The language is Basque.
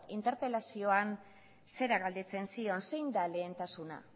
interpelazioan zera galdetzen zion zein da lehentasuna